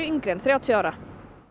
yngri en þrjátíu ára